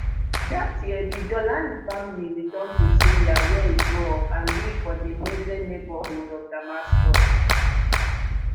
dat year di jawlani family return to syria wia e grow up and live for di mezzeh neighbourhood of damascus